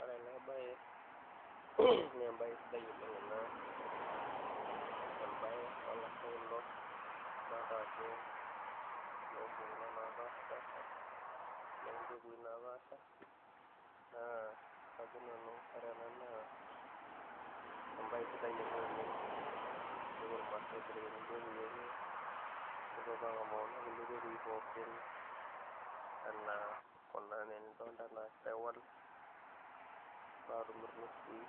Ore ena bae naa embae sidai oleng ena, embae oo lasho kulo, idolita ajo iloompukunot loopashapaasha loompekui naapaasha, naa kajo nanu ore ena naa embae sidai ena oleng tenepwo irmaasai aibelekeny impekui enye nepwo apwo ang'amu kuna kulie pekui pookin enaa kuna enaa naa enidolita, sahiwal, irnusui